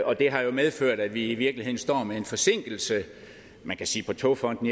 og det har jo medført at vi i virkeligheden står med en forsinkelse man kan sige på togfonden